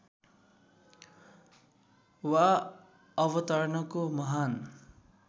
वा अवतरणको महान